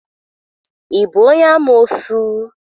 Ị bụ onye amoosu?